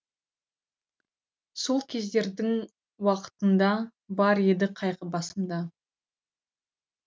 сол кездердің уақытында бар еді қайғы басымда